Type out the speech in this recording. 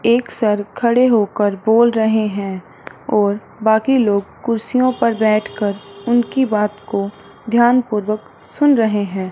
एक सर खड़े हो कर बोल रहे हैं और बाकी लोग कुर्सियों पर बैठकर उनकी बात को ध्यानपूर्वक सुन रहे हैं।